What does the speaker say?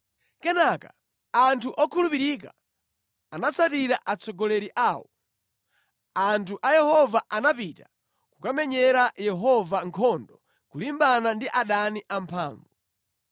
“Kenaka anthu okhulupirika anatsatira atsogoleri awo; anthu a Yehova anapita kukamenyera Yehova nkhondo kulimbana ndi adani amphamvu.